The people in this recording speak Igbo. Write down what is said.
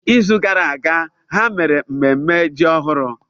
N'izu gara aga, ha mere mmemme ji ọhụrụ.